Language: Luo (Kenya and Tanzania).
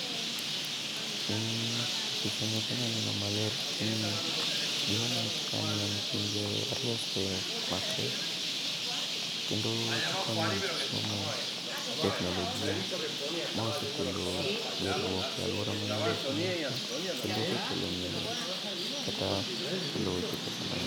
Picha ni okanya neno maler lakini gima anya wacho ka ni en pinje ariyo ose makre, kendo gikonye weche somo gi teknolojia. Ma osekelo gerruok e alwora mang'eny e pinywa ka, kendo osekelo ng'eyo kata kelo weche pesa mang'.